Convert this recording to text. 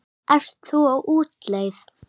Ert þú á útleið?